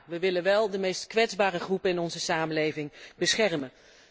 Maar we willen wel de meest kwetsbare groepen in onze samenleving beschermen.